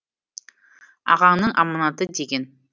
ағаңның аманаты деген